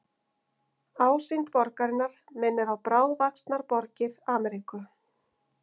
Ásýnd borgarinnar minnir á bráðvaxnar borgir Ameríku.